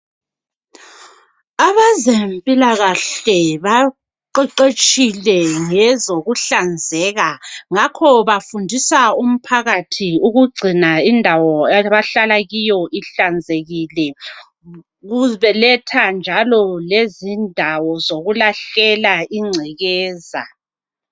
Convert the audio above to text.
Abezempilakahle baqeqetshile ngezokuhlanzeka ngakho bafundisa umphakathi ukugcina indawo abahlala kiyo ihlanzekile beletha njalo lezindawo zokulahlela ingcekeza.